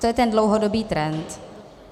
To je ten dlouhodobý trend.